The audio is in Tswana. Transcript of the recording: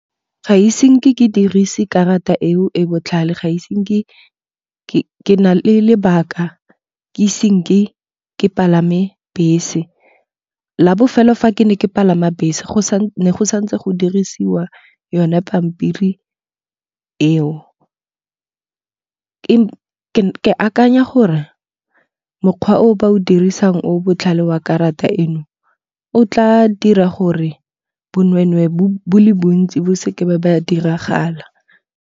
Ga ise nke ke dirise karata eo e botlhale ga ise nke ke na le lebaka ke ise nke ke palame bese. La bofelo fa ke ne ke palama bese ne go santse go dirisiwa yone pampiri eo. Ke akanya gore mokgwa o ba o dirisang o botlhale wa karata eno, o tla dira gore bonwenwe bo le bontsi bo seke ba diragala.